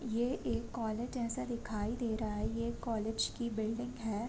ये एक कॉलेज जैसा दिखाई दे रहा है ये कॉलेज की बिल्डिंग है।